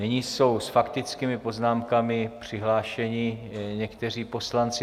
Nyní jsou s faktickými poznámkami přihlášeni někteří poslanci.